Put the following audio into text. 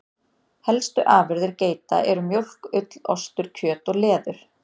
Helstu afurðir geita eru mjólk, ull, ostur, kjöt og leður.